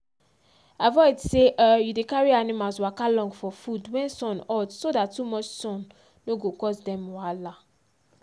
avoid sey um u dey carry animals waka long for food wen sun hot so dat too much son no go cause dem wahala